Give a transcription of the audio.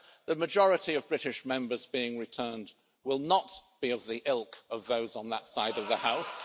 The majority of British Members being returned will not be of the ilk of those on that side of the House.